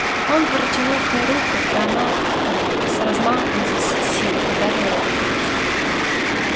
он протянул к ней руку и она ээ с размаху изо всей силы ударила его по лицу